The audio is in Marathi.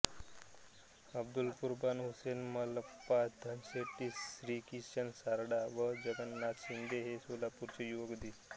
अब्दुल कुर्बान हुसेन मल्लप्पा धनशेट्टी श्रीकिसन सारडा व जगन्नाथ शिंदे हे सोलापूरचे युवक दि